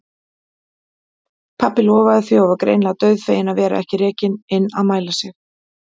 Pabbi lofaði því og var greinilega dauðfeginn að vera ekki rekinn inn að mæla sig.